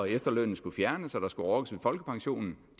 efterlønnen skulle fjernes og at der skulle rokkes ved folkepensionen